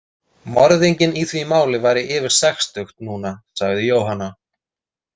Morðinginn í því máli væri yfir sextugt núna, sagði Jóhanna.